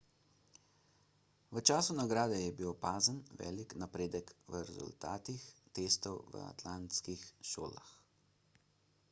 v času nagrade je bil opazen velik napredek v rezultatih testov v atlantskih šolah